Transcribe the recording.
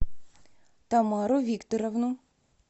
тамару викторовну